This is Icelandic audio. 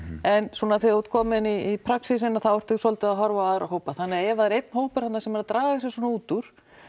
en svona þegar þú ert kominn í praxísinn að þá ertu svolítið að horfa á aðra hópa þannig að ef það er einn hópur þarna sem er að draga sig svona út úr